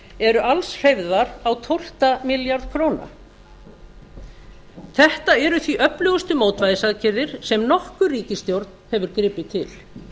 eru alls hreyfðar á tólfta milljarð króna þetta eru því öflugustu mótvægisaðgerðir sem nokkur ríkisstjórn hefur gripið til